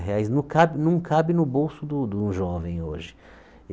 Reais não cabe não cabe no bolso de um de um jovem hoje.